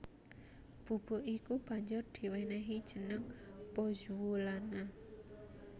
Bubuk iku banjur diwènèhi jeneng pozzuolana